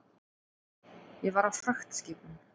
Ég var á fragtskipum.